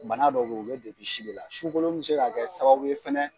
Bana dɔw be yen o bɛ jati si de la, sukolon mi se ka kɛ sababu ye fɛnɛ